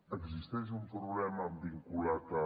existeix un problema vinculat al